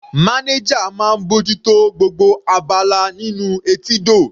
Manager máa ń bójú tó gbogbo abala nínú etídò.